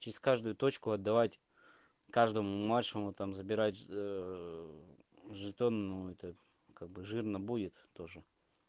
через каждую точку отдавать каждому младшему там забирать жетон ну это как бы жирно будет тоже